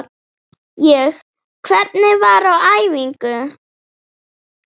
Ég: Hvernig var á æfingu?